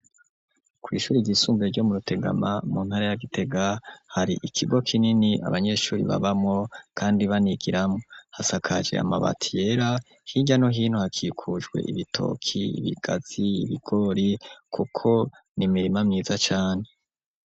Kwishuri iryisumbuye ryo mu Rutegama mu ntara ya Gitega hari ikigo kinini. Abanyeshuri babamo kandi banigiramo hasakaje amabati yera hirya no hino hakikujwe ibitoki ibigazi ibigori kuko ni mirima myiza cane.